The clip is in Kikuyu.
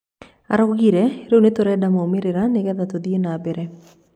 Araugire, rĩu nĩturenda moimĩrĩra nigetha tũthie na mbere